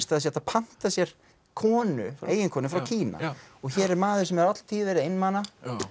það sé hægt að panta sér konu eiginkonu frá Kína hér er maður sem alla tíð hefur verið einmana